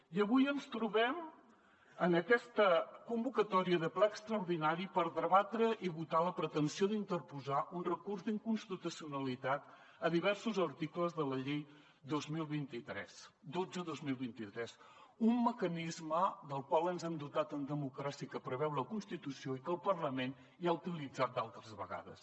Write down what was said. i avui ens trobem en aquesta convocatòria de ple extraordinari per debatre i votar la pretensió d’interposar un recurs d’inconstitucionalitat a diversos articles de la llei dotze dos mil vint tres un mecanisme del qual ens hem dotat en democràcia que preveu la constitució i que el parlament ja ha utilitzat d’altres vegades